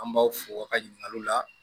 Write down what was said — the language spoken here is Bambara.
An b'aw fo aw ka ɲininkaliw la